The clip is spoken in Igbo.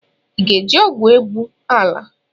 Ị ga-eji ọgwụ egwu ala?